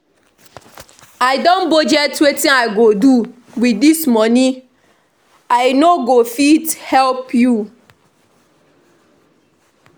I don budget wetin I go do with dis money, I no go fit help you